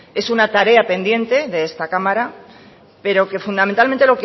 es una tarea pendiente de esta cámara pero que fundamentalmente